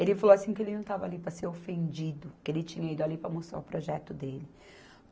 Ele falou assim que ele não estava ali para ser ofendido, que ele tinha ido ali para mostrar o projeto dele.